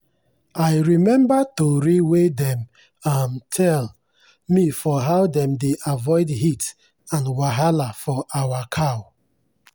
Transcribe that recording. i remember tori wey dem um tell me for how dem dey avoid heat and wahala for our cow.